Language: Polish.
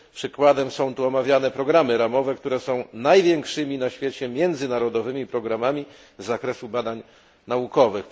Przykładem są tu omawiane programy ramowe, które są największymi na świecie międzynarodowymi programami z zakresu badań naukowych.